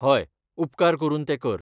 हय, उपकार करून तें कर.